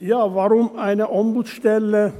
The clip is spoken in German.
Ja, warum eine Ombudsstelle?